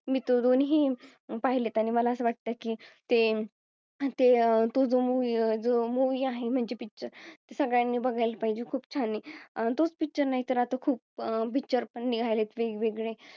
मी तर दोनीही पाहिलेत. त्याने मला असं वाटतं की ते अह ते जो Movie आहे म्हणजे Picture सगळ्यांनी बघायला पाहिजे खूप छान आहे. अं तोच Picture नाही तर आता खूप अह Picture पण निघालेत वेगवेगळे